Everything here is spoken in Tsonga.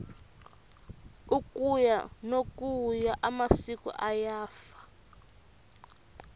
ukuya nokuya amasiko ayafa